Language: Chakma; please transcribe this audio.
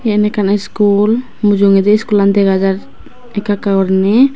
yen ekkan iskool mujungedi iskoolan dega jar ekka ekka gurine.